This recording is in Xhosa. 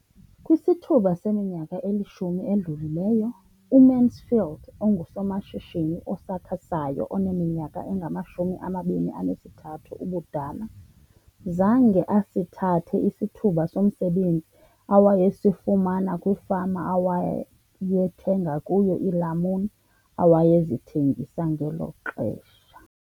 Kwisithuba seminyaka elishumi edlulileyo, uMansfield engusomashishini osakhasayo oneminyaka engama-23 ubudala, zange asithathe isithuba somsebenzi awayesifumana kwifama awayethenga kuyo iilamuni awayezithengisa ngelo xesha.